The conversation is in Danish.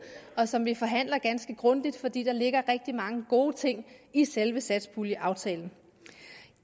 og som vi forhandler ganske grundigt fordi der ligger rigtig mange gode ting i selve satspuljeaftalen